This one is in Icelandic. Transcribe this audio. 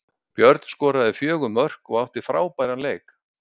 Björn skoraði fjögur mörk og átti frábæran leik.